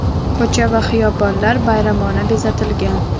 Ko‘cha va xiyobonlar bayramona bezatilgan.